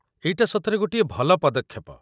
ଏଇଟା ସତରେ ଗୋଟିଏ ଭଲ ପଦକ୍ଷେପ!